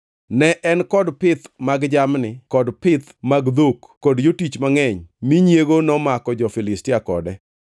Ne en kod pith mag jamni kod pith mag dhok kod jotich mangʼeny mi nyiego nomako jo-Filistia kode.